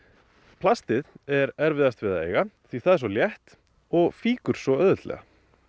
plastið er erfiðast við að eiga því það er svo létt og fýkur svo auðveldlega